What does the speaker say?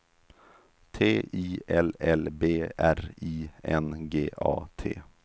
T I L L B R I N G A T